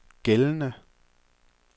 gældende